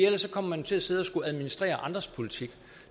ellers kommer man til at sidde og skulle administrere andres politik